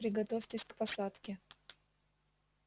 приготовьтесь к посадке